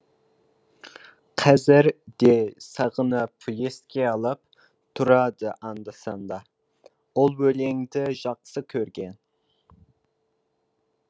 қазір де сағынып еске алып тұрады анда санда ол өлеңді жақсы көрген